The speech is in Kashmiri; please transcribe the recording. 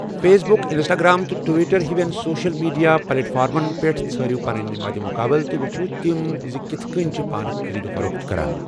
فیس بک، انسٹاگرام تہٕ ٹویٹر ہِوٮ۪ن سوشل میڈیا پلیٹ فارمن پٮ۪ٹھ ژھٲرِو پنٕنۍ مَدِ مُقابَلہٕ تہٕ وٕچھِو زِ تِم کِتھ کٔنۍ چھِ پانہٕ خٔریٖد و فروخت کران۔